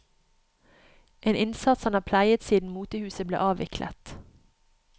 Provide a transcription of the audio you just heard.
En innsats han har pleiet siden motehuset ble avviklet.